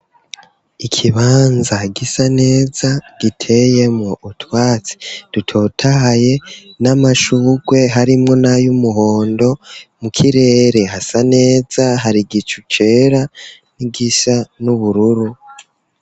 Ikibanza gisa neza giteye mu utwatsi dutotahaye n'amashurwe harimwo nayo umuhondo mu kirere hasa neza hari gicu cera n'igisa n'ubururu.